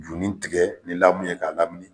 Jurunin tigɛ ni lamu ye k'a lamini